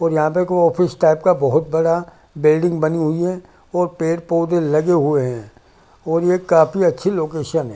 और यहाँ पे को ऑफिस टाइप का बहोत बड़ा बिल्डिंग बनी हुई है और पेड़ पौधे लगे हुए है और ये काफी अच्छी लोकेशन है ।